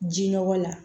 Ji nɔgɔ la